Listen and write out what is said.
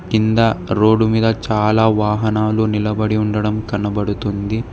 కింద రోడ్డు మీద చాలా వాహనాలు నిలబడి ఉండడం కనబడుతుంది.